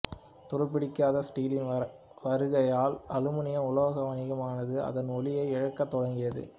துருப்பிடிக்காத ஸ்டீலின் வருகையால் அலுமினிய உலோக வணிகமானது அதன் ஒளியை இழக்கத் தொடங்கியது